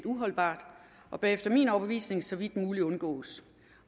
uholdbart og bør efter min overbevisning så vidt muligt undgås